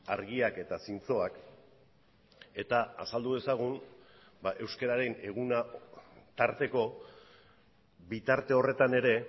argiak eta zintzoak eta azaldu dezagun euskararen eguna tarteko bitarte horretan ere